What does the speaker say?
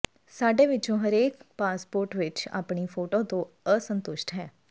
ਸਾਡੇ ਵਿੱਚੋਂ ਹਰੇਕ ਪਾਸਪੋਰਟ ਵਿਚ ਆਪਣੀ ਫੋਟੋ ਤੋਂ ਅਸੰਤੁਸ਼ਟ ਹੈ